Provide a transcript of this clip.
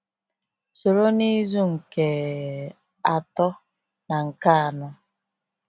Soro n’izu nke atọ na nke anọ.